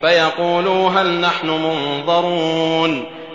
فَيَقُولُوا هَلْ نَحْنُ مُنظَرُونَ